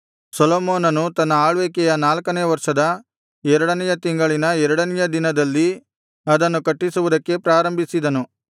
ಸೊಲೊಮೋನನು ತನ್ನ ಆಳ್ವಿಕೆಯ ನಾಲ್ಕನೆಯ ವರ್ಷದ ಎರಡನೆಯ ತಿಂಗಳಿನ ಎರಡನೆಯ ದಿನದಲ್ಲಿ ಅದನ್ನು ಕಟ್ಟಿಸುವುದಕ್ಕೆ ಪ್ರಾರಂಭಿಸಿದನು